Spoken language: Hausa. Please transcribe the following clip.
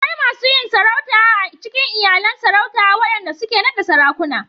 Akwai masu yin sarautu a cikin iyalan Sarauta waɗanda suke naɗa Sarakuna.